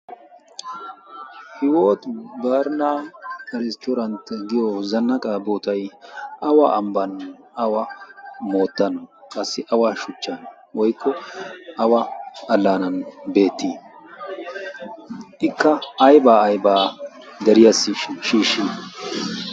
hiwot barina ristturant giyo zannaqa botay awa ambban awa moottan qassi awa shuchchan woykko awa allaanan beettii ikka aybaa aybaa deriyassi shiishshi